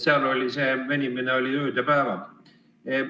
Seal see venis ööd ja päevad.